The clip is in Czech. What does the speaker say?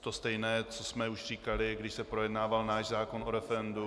to stejné, což jsme už říkali, když se projednával náš zákon o referendu.